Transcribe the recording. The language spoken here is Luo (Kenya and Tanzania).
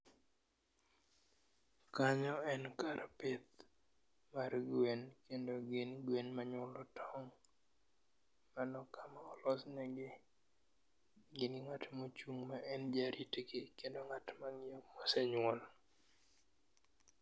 Kanyo en kar pith mar gwen kendo gin gwen manyuolo tong'. Mano kama olosnegi, gin gi ng'at mochung' ma en jarit gi kendo ng'at ma ng'iyo kosenyuol.